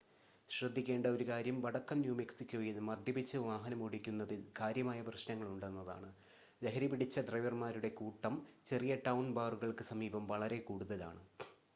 ശ്രദ്ധിക്കേണ്ട ഒരു കാര്യം വടക്കൻ ന്യൂ മെക്സിക്കോയിൽ മദ്യപിച്ച് വാഹനമോടിക്കുന്നതിൽ കാര്യമായ പ്രശ്‌നങ്ങളുണ്ടെന്നതാണ് ലഹരിപിടിച്ച ഡ്രൈവർമാരുടെ കൂട്ടം ചെറിയ-ടൗൺ ബാറുകൾക്ക് സമീപം വളരെ കൂടുതലാണ്